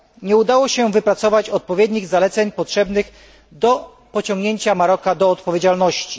Nie udało się wypracować odpowiednich zaleceń potrzebnych do pociągnięcia Maroka do odpowiedzialności.